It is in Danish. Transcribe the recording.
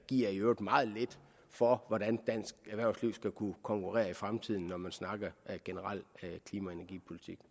i øvrigt meget lidt for hvordan dansk erhvervsliv skal kunne konkurrere i fremtiden når man snakker generel klima og energipolitik